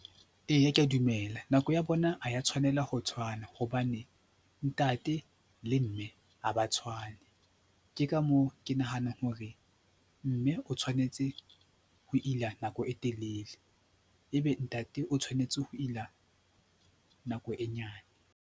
Eya, ke a dumela. Nako ya bona ha ya tshwanela ho tshwana hobane ntate le mme ha ba tshwane, ke ka moo ke nahana hore mme o tshwanetse ho ila nako e telele, ebe ntate o tshwanetse ho ila nako e nyane.